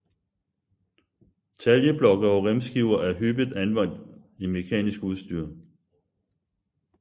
Taljeblokke og remskiver er hyppigt anvendt i mekanisk udstyr